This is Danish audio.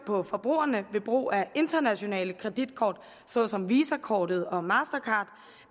på forbrugerne ved brug af internationale kreditkort såsom visakort og mastercard